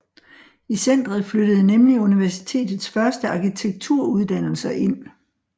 I centeret flyttede nemlig Universitets første arkitekturuddannelser ind